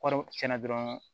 Wari tiɲɛna dɔrɔn